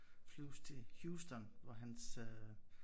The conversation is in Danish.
Flyves til Houston hvor han øh